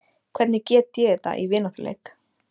Hvernig get ég þetta í vináttuleik?